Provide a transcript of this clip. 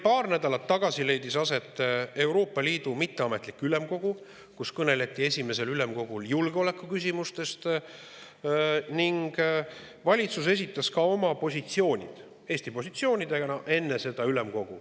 Paar nädalat tagasi leidis aset mitteametlik Euroopa Ülemkogu, kus kõneleti julgeolekuküsimustest, ning enne selle toimumist esitas meie valitsus sinna ka Eesti positsioonid.